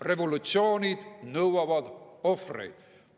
Revolutsioonid nõuavad ohvreid.